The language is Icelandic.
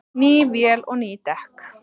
Ný vél og ný dekk